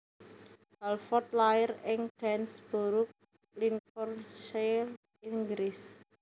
Halford lair ing Gainsborough Lincolnshire Inggris